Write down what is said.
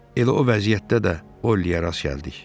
Elə o vəziyyətdə də Ollieyə rast gəldik.